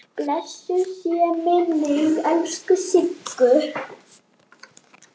Blessuð sé minning elsku Siggu.